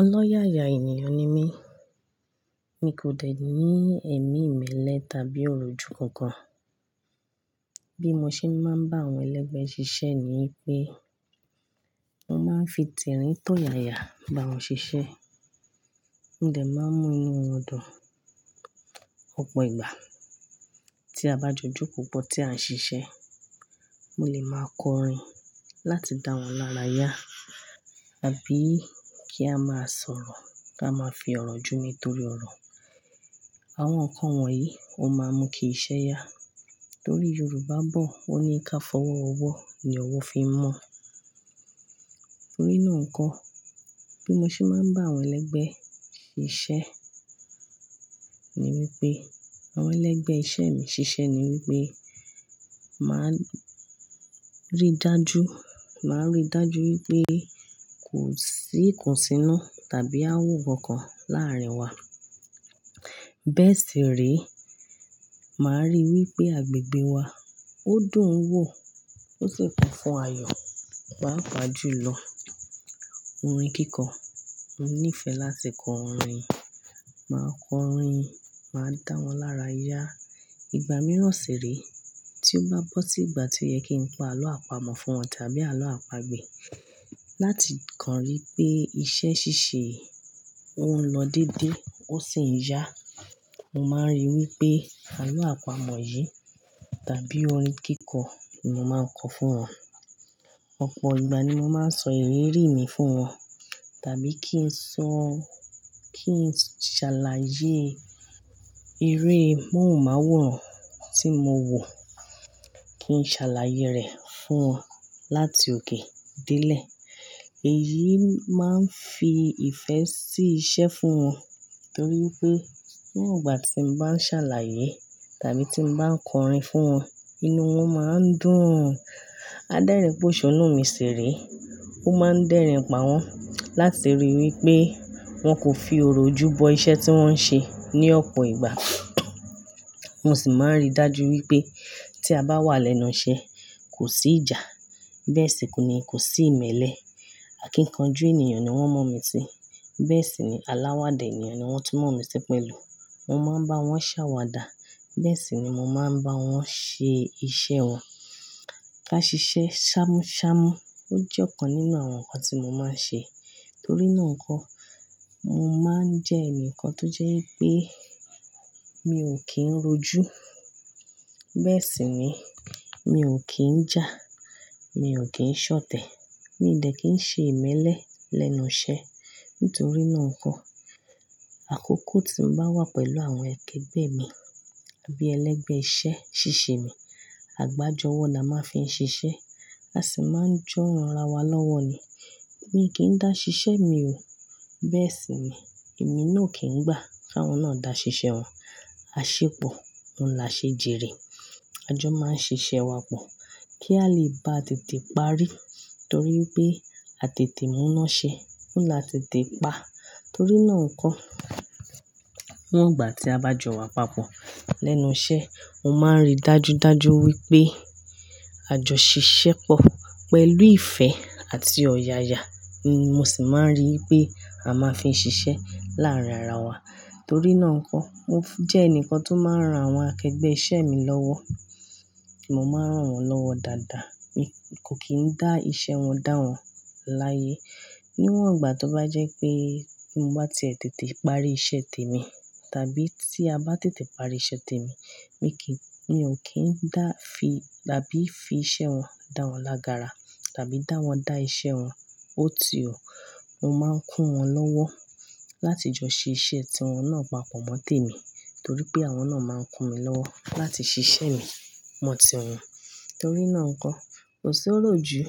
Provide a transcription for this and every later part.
Ọlọ́yàyà ènìyàn ni mí. Mi kò dẹ̀ ní ẹ̀mí ìmẹ́lẹ́ tàbí iroju kankan. Bí mo ṣe máa ń bá àwọn ẹlẹgbẹ́ ṣiṣẹ́ ni wípé, mọ máa ń fi tirin tọ̀ yaya bá wọn ṣiṣẹ́. Mó dẹ̀ máa ń mú inú wọn dùn. Ọ̀pọ̀ ìgbà tí a bá jọ jóko pọ̀ tí à ń ṣiṣẹ́, mo lè máa kọrin láti dá wọn lára yá àbí kí a máa sọ̀rọ̀ ká máa fi ọ̀rọ̀ jù ni torí ọ̀rọ̀. Àwọn nǹkan wọ̀nyí ó máa n mú kí iṣẹ́ yá torí Yorùbá bọ̀ wan ní kí a fọwọ́ wowó ní ọwọ́ fi n mọ. Nínu nnkán, bí mo ṣe máa ń bá àwọn ẹlẹgbẹ́ ṣiṣẹ́ ni wípé àwọn ẹlẹgbẹ́ iṣẹ́ mi ṣiṣẹ́ ni wípé, màá rí dájú, màá rí dájú wípé kò sí ikosínú tàbí áwò ọkan làárín wa. Bẹ́ẹ̀ sì re, màá rí wípé agbègbè wa ó dùn ún wò ó sì kún fún ayọ̀. Pàpà jù lọ. Orin kíkọ, mo nífẹ̀ẹ́ láti kọ orin. Màá kọ orin, màá dá wọn lára yá. Ìgbà mìíràn sì re tí ó bá bọ́ sí ìgbà tí ó yẹ kí n pa àlọ́ àpamọ̀ fún wọn tàbí àlọ́ àpagbè láti kàn rí pé iṣẹ́ ṣíṣe ó ń lọ dédé ó sì ń yá. Mo máa ń rí i wípé àlọ́ àpamọ̀ yìí tàbí orin kíkọ ni mo máa ń kọ fún wọn. Ọ̀pọ̀ ìgbà ni mo máa ń sọ ìrírí mi fún wọn tàbí kí n sọ, kí n ṣàlàyé eré mọ̀hunmaworan tí mo wò, kí n ṣàlàyé rẹ̀ fún wọn láti òkè dé lè. Èyí máa ń fi ìfẹ́ sí iṣẹ́ fún wọn torí wipé fun iwon igbà tí mo bá ń ṣàlàyé tàbí tí mo bá ń kọrin fún wọn, inú wọn máa ń dùn. Adẹ́rìn póṣọ́nù mi sì rí, ó máa ń dẹ́rìn páwọ́n láti rí i wípé wọn kò fi òrojú bọ iṣẹ́ tí wọ́n ń ṣe ní ọ̀pọ̀ ìgbà. Mo sì máa ń rí dájú wípé tí a bá wà lẹ́nu iṣẹ́ kò sí ìjà. Bẹ́ẹ̀ sì kò ní, kò sí ìmẹ́lẹ́. Àkínkanjú ènìyàn ni wọ́n mọ̀ mí sí. Bẹ́ẹ̀ sì ni aláwa dẹ ni, ni wọ́n tun mọ̀ mí sí pẹ̀lú. Mo máa ń bá wọn ṣàwàdà. Bẹ́ẹ̀ sì ni mo máa ń bá wọn ṣe iṣẹ́ wọn. Ká ṣiṣẹ́ ṣámúṣámú. Ó jẹ́ ọ̀kan nínú àwọn nǹkan tí mo máa ń ṣe. Nítorí náà n kọ́, mo máa ń jẹ́ ẹnìkan tó jẹ́ wipé mi ò kí ń roju. Bẹ́ẹ̀ sì ni mi ò kí ń jà, mi ò kí ń ṣọ̀tẹ̀. Mi ò dẹ̀ kín ń ṣe ìmẹ́lẹ́ lẹ́nu iṣẹ́. Nítorí náà n kọ́, àkókò tí mo bá wà pẹ̀lú àwọn akẹgbẹ́ mi àbí ẹlẹgbẹ́ iṣẹ́ ṣíṣe mi, àgbájọwọ́ la máa fi ń ṣiṣẹ́. A sì máa ń jọ́ ran ara wa lọ́wọ́ ni. Mi ò kí ń dá ṣiṣẹ́ mi o. Bẹ́ẹ̀ sì ni èmi náà ò kí ń gbà ki áwọn náà dá ṣiṣẹ́ wọn. Aṣépọ̀, ó ń la ṣe jèrè. A jọ máa ń ṣiṣẹ́ wa pọ̀ kí a lè ba tètè parí torí wipé a tètè múná ṣe, ó ń la tètè pa. Torí náà n kọ́, nígbà tí a bá jọ wà papọ̀ lẹ́nu iṣẹ́, mo máa ń rí dájúdájú wípé a jọ ṣiṣẹ́ pọ̀ pẹ̀lú ìfẹ́ àti ọ̀yàyà. Mo sì máa ń rí i wípé a máa fi ń ṣiṣẹ́ láàárín ara wa. Torí náà nkọ́, mo jẹ́ ẹnikan tó máa ń ran àwọn akẹgbẹ́ iṣẹ́ mi lọ́wọ́. Mo máa ń ran wọn lọ́wọ́ dáadáa. Mi kò kí ń dá iṣẹ́ wọn dá wọn láyé. Níwọ̀n ìgbà tó bá jẹ́ pé hun-un bá ti e tètè parí iṣẹ́ tèmi tàbí tí a bá tètè parí iṣẹ́ tèmi, mi kì í, mi ò kí ń dá fi tàbí fi iṣẹ́ wọn dá wọn lágara tàbí dá wọn dá iṣẹ́ wọn ó ti ọ̀. Mo máa ń kún wọn lọ́wọ́ láti jọ ṣẹ iṣẹ́ tí wọn náà papọ̀ mọ́ tèmi torí pé àwọn náà máa ń kún mi lọ́wọ́ láti ṣiṣẹ́ mi mọ̀ tí wọn. Torí náà nkọ́, kò sí iròjú,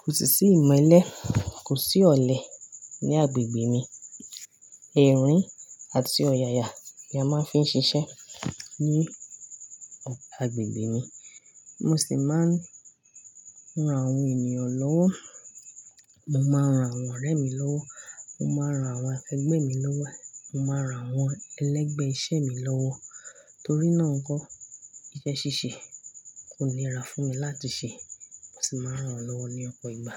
kò sì sí ìmẹ́lẹ́, kò sí ọ̀lẹ ní agbègbè mi. Ẹ̀rín àti ọ̀yàyà la máa ń fi ń ṣiṣẹ́ ní agbègbè mi. Mo sì máa ń ran àwọn ènìyàn lọ́wọ́. Mo máa ń ran àwọn ọ̀rẹ́ mi lọ́wọ́. Mo máa ń ran àwọn akẹgbẹ́ mi lọ́wọ́. Mo máa ń ran àwọn ẹlẹgbẹ́ iṣẹ́ mi lọ́wọ́. Torí náà nkọ́, iṣẹ́ ṣíṣe kò ní ra fún mi láti ṣẹ. Mo sì máa ń ran wọn lọ́wọ́ ní ọ̀pọ̀ ìgbà.